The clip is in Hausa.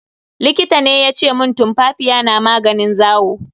Likita ne yace mun tumfafiya na maganin zawo.